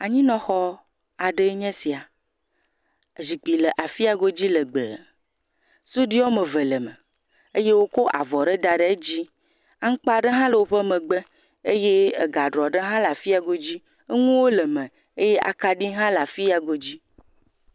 Anyinɔxɔ aɖee nye esia. Zikpui le afi ya godzi legbe. Suɖui wɔme eve le eme eye wokɔ avɔ aɖe da ɖe edzi. Aŋkpa aɖe hã le woƒe megbe eye agaɖɔ aɖe hã le afi ya godzi. Eɛuwo le eme eye akaɖi hã le afi ya godzi.